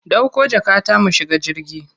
Dauko jakata mu shiga jirgi.